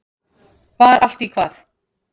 Var allt í hvað?